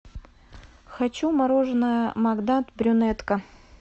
хочу мороженое магнат брюнетка